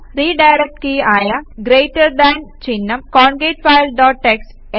redirect key ആയ greater than ചിഹ്നം concat file dot TXT